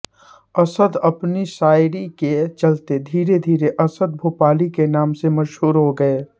असद अपनी शायरी के चलते धीरे धीरे असद भोपाली के नाम से मशहूर हो गये